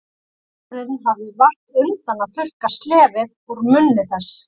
Og móðirin hafði vart undan að þurrka slefið úr munni þess.